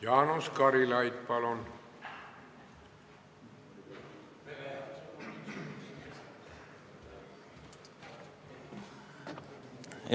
Jaanus Karilaid, palun!